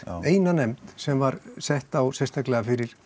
eina nefnd sem var sett á sérstaklega fyrir